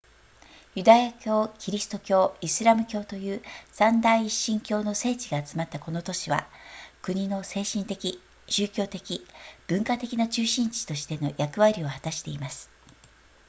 ユダヤ教キリスト教イスラム教という三大一神教の聖地が集まったこの都市は国の精神的宗教的文化的な中心地としての役割を果たしています